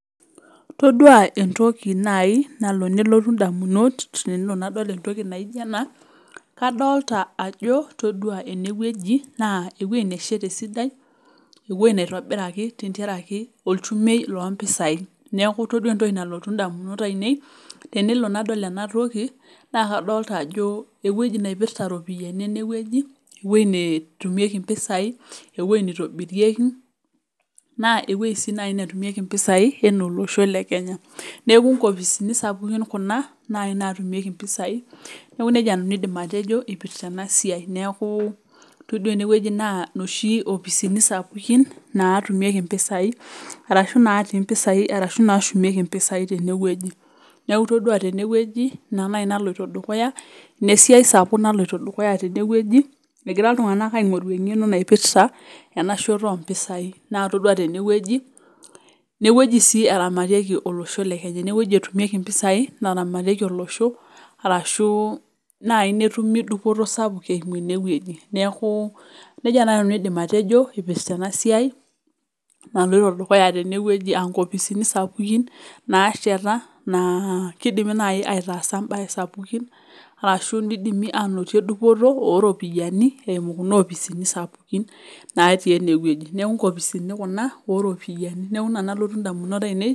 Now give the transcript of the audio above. Tedua entoki naji nalo nelotu idamunot tenadol entoki naijo ena kadolita ajo todua eneweji naa eweji nasheta esidai. Eweji naitobirakj tenkaraki ilchumei loo mpisai . Neeku todua entoki nalotu damunot ainei tenelo nadol enatoki naa kadolita ajo eweji naipirta iropiani, eneweji, eweji neshumiekie mpisai, eweji nitobirieki naa eweji sii naji natumieki ropiani to losho le Kenya. Neeku inkopisini sapukin kuna nashumieki mpisai. Neeku neija nanu aidim atejo ipirta ena siai. Neeku todua eneweji naa noshi opisini sapukin natumieki mpisai arashu naati mpisai arashu natumieki mpisai naji teneweji. Neeku itodua teneweji ina naji naloito dukuya. Ina esiai sapuk naloito dukuya teneweji egira iltung'ana aing'oru eng'eno naipirta ena shoto oo mpisai. Naa itodua teneweji ineweji sii eramatikie olosho le Kenya. Ineweji etumieki mpisai narametikie olosho natumikie duo nai netumo dupoto sapuk eimu eneweji neeku neija naji nanu aidim atejo ipirta ena siai naloito dukuya teneweji. Aa inkopisini sapukin nasheta naa kidimi nai aitasa baa sapukin arashu nidimi anoto dupoto oo ropiani eimu kuna oposini sapukin naati eneweji neeku nkopisini kuna oropiani. Neeku ina nalotu idamunot ainei.